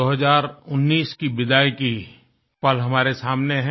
2019 की विदाई का पल हमारे सामने है